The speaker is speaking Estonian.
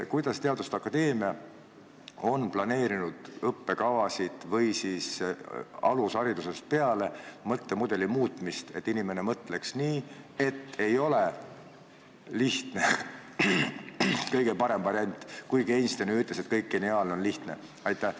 Kuidas teaduste akadeemia on planeerinud õppekavasid või siis alusharidusest peale mõttemudeli muutmist, et inimene mõtleks nii, et lihtne ei ole kõige parem variant, kuigi Einstein ju ütles, et kõik geniaalne on lihtne?